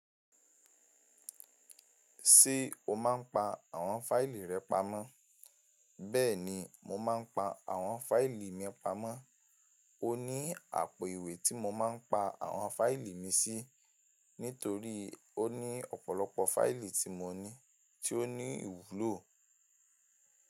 Ṣé o máa ń pa àwọn fáìlì rẹ pamọ́? Bẹ́ẹ̀ni, mo máa ń pa àwọn fáìlì mi pamọ́. Ó ní àpò ìwé tí mo máa ń pa àwọn fáìlì mi sí nítorí ó ní ọ̀pọ̀lọpọ̀ fáìlì tí mo ní tí ó ní ìwúlò.